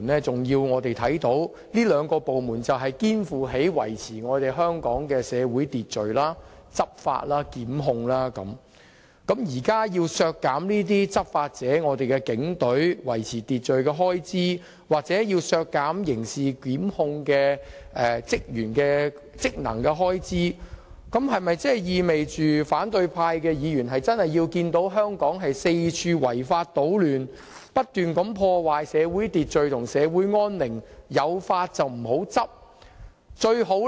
這兩個部門肩負了維持香港社會秩序，進行執法和檢控的職責，若要削減執法者即警隊維持社會秩序的開支，又或削減執行刑事檢控職能的開支，是否意味反對派議員希望看到香港四處出現違法搗亂、破壞社會秩序和安寧、有法不執的情況？